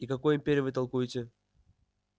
и какой империи вы толкуете